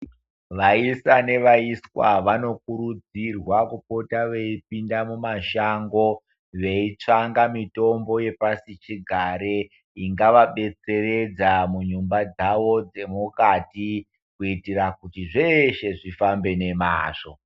Vaisa nevaiswa vanokurudzirwa kupota veipinda mumashango veitsvanga mitombo yepasichigare ingavabetseredza munyumba dzavo dzemukati kuitira kuti zveshe zvifambe nemazvo.